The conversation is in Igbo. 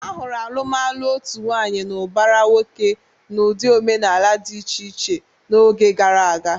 A hụrụ alụmalụ otu nwaanyị na ụbara nwoke n'ụdị omenala dị iche iche n'oge gara aga.